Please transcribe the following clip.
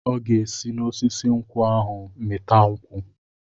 Ọ ga-esi n'osisi nkwụ ahụ mịta nkwụ.